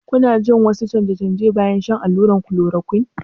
Kuna jin wasu canje-canje bayan shan allurar chloroquine?